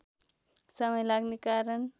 समय लाग्ने कारण